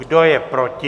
Kdo je proti?